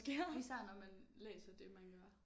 Især når man læser det man gør